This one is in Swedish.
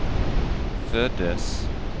föddes